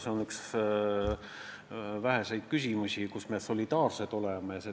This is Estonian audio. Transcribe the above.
See on üks väheseid küsimusi, mille puhul me solidaarsed oleme.